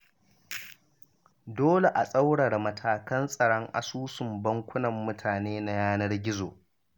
Dole a tsaurara matakan tsaron asusun bankunan mutane na yanar gizo.